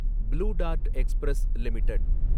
blue dart express limited